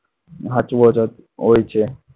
સાચવો જ હોય છે.